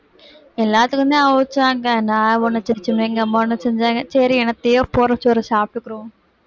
எல்லாத்துக்குந்தான் அவிச்சாங்க நான் ஒண்ணு எங்க அம்மா ஒண்ணு செஞ்சாங்க சரி என்னத்தையோ போடற சோற சாப்பிட்டுக்கறோம்